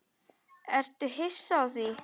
Ertu hissa á því?